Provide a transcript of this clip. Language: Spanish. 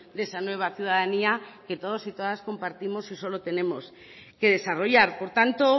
de esa nueva ciudadanía que todos y todas y compartimos y solo tenemos que desarrollar por tanto